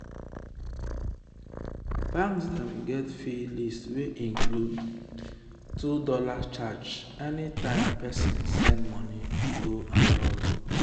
banks dem get fee list wey include $2.50 charge anytime person send money go abroad.